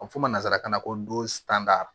A bɛ fɔ ma nanzarakan na ko dosan